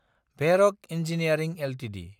भेरक engineering Ltd